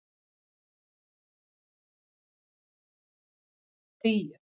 tíu